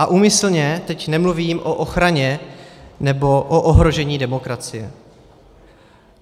A úmyslně teď nemluvím o ochraně nebo o ohrožení demokracie.